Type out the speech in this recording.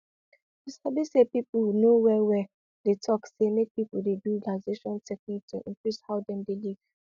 you sabi say people wey know well well dey talk say make people dey do relaxation technique to increase how dem dey live